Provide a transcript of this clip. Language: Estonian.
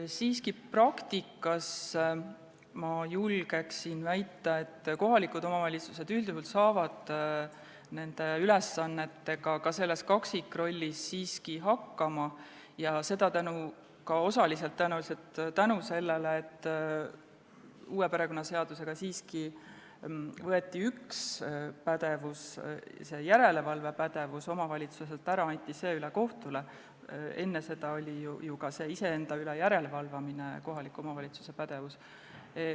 Ma siiski julgen väita, et kohalikud omavalitsused saavad praktikas nende ülesannetega üldjuhul ka selles kaksikrollis siiski hakkama ja tõenäoliselt osaliselt tänu sellele, et uue perekonnaseadusega võeti üks pädevus, järelevalvepädevus, omavalitsustelt ära, see anti üle kohtutele, enne seda oli ju ka see järelevalve iseenda üle kohalike omavalitsuste pädevuses.